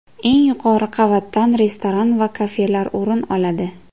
Eng yuqori qavatdan restoran va kafelar o‘rin oladi.